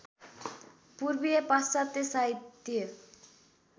पूर्वीय पाश्चात्य साहित्य